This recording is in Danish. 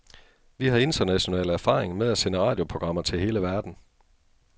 Vi har international erfaring med at sende radioprogrammer til hele verden.